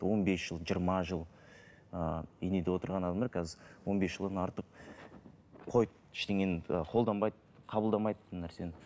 он бес жыл жиырма жыл ы инеде отырған адамдар қазір он бес жылдан артық қойып ештеңені ы қолданбайды қабылдамайды нәрсені